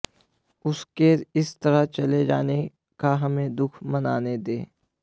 उसके इस तरह चले जाने का हमें दुख मनाने दें